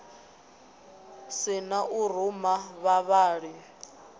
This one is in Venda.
si na u ruma vhavhali